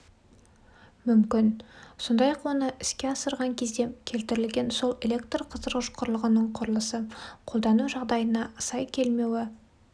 мүмкін сондай-ақ оны іске асырған кезде келтірілген сол электрқыздырғыш құрылғының құрылысы қолдану жағдайына сай келмеуі